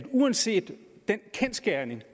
uanset den kendsgerning